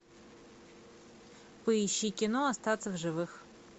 поищи кино остаться в живых